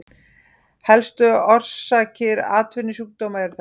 Helstu orsakir atvinnusjúkdóma eru þessar